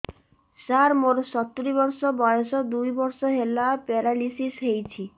ସାର ମୋର ସତୂରୀ ବର୍ଷ ବୟସ ଦୁଇ ବର୍ଷ ହେଲା ପେରାଲିଶିଶ ହେଇଚି